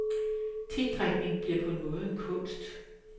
Tedrikning bliver på en måde en kunst.